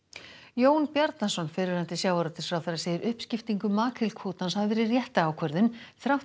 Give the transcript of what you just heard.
Jón Bjarnason fyrrverandi sjávarútvegsráðherra segir uppskiptingu makrílkvótans hafa verið rétta ákvörðun þrátt